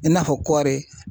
I n'a fɔ kɔri.